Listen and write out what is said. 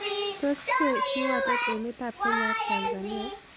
Tos' pchee kiwotet emetap kenya ak tanzania